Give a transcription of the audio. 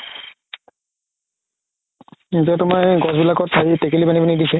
এতিয়া তুমাৰ গছ বিলাকত তেকেলি বান্ধি বান্ধি থাকিছে